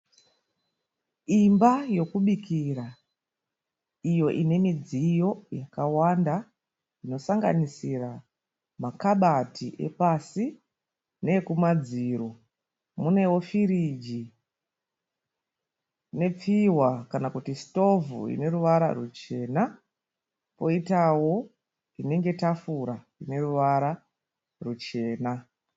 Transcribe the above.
Imba yokubikira iyo inemidziyo yakawanda inosanganisira makabati epasi neekumadziro munewo firiji nepfihwa kana kuti sitovhu ineruvara rwuchena poitawo tafura ineruvara rwuchena.